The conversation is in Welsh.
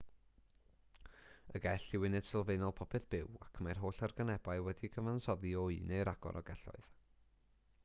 y gell yw uned sylfaenol popeth byw ac mae'r holl organebau wedi'u cyfansoddi o un neu ragor o gelloedd